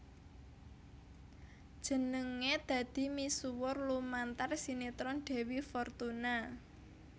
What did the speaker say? Jenengé dadi misuwur lumantar sinetron Dewi Fortuna